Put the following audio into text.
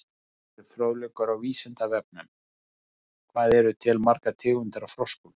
Frekari fróðleikur á Vísindavefnum: Hvað eru til margar tegundir af froskum?